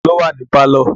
Ta ló wà ní pálọ̀?